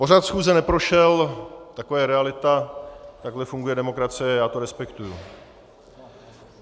Pořad schůze neprošel, taková je realita, takhle funguje demokracie, já to respektuji.